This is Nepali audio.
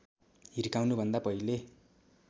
हिर्काउनु भन्दा पहिले